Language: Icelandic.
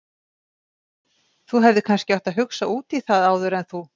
Þú hefðir kannski átt að hugsa út í það áður en þú.